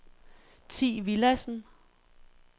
Thi Villadsen